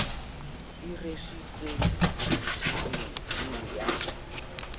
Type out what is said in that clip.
o rwesitsweng ofisiri eo ya